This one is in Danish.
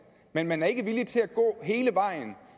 men man er ikke villig til at gå hele vejen